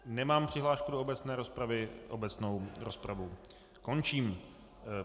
Nemám přihlášku do obecné rozpravy, obecnou rozpravu končím.